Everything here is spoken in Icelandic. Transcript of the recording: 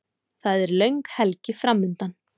Það er löng helgi framundan.